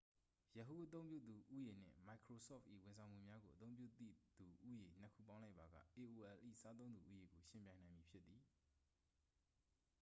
yahoo အသုံးပြုသူ ဦးရေ နှင့် မိုက်ခရိုဆော့ဖ်၏ ဝန်ဆောင်မှုများကို အသုံးပြုသည့်သူ ဦးရေ နှစ်ခုပေါင်းလိုက်ပါက aol၏ စားသုံးသူ ဦးရေကို ယှဉ်ပြိုင်နိုင်မည်ဖြစ်သည်။